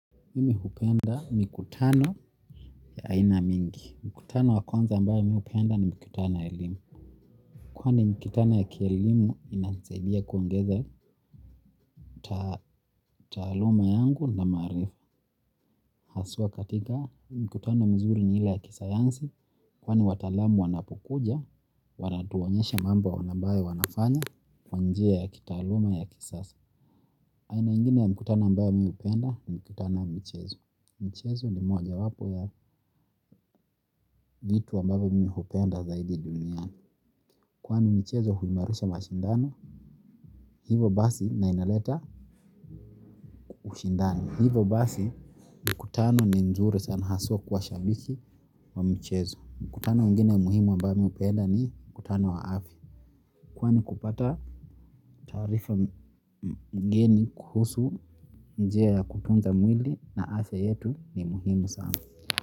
Mimi hupenda mikutano ya aina mingi. Mkutano wa kwanza ambayo mi hupenda ni mikutano ya elimu. Kwani mikutana ya kielimu inanisaidia kuongeza taaluma yangu na maarifa. Haswa katika mkutano mzuri ni ile ya kisayansi. Kwani wataalamu wanapokuja, wanatuonyesha mambo anabayo wanafanya kwa njia ya kitaaluma ya kisasa. Aina ingine ya mikutano ambayo mi hupenda ni mikutano ya michezo. Mchezo ni mojawapo ya vitu ambavyo mimi hupenda zaidi duniani. Kwani michezo huimarisha mashindano hivo basi na inaleta ushindano. Hivo basi mkutano ni nzuri sana haswa kwa shabiki wa michezo. Mkutano mwingine muhimu ambayo mi hupenda ni mkutano wa afya kwani kupata taarifa mgeni kuhusu njia ya kutunza mwili na afya yetu ni muhimu sana.